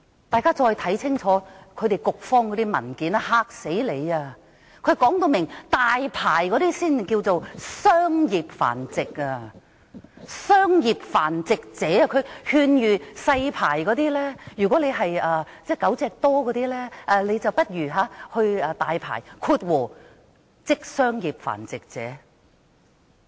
大家再看清楚局方那些文件，簡直把你嚇死，當中列明領取"大牌"的才稱作商業繁殖者，局方更勸諭領有"細牌"的繁殖者，如果飼養狗隻多，不如去申領"大牌"，成為商業繁殖者。